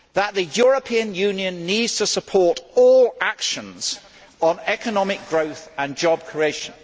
The European Union needs to support all actions on economic growth and job creation.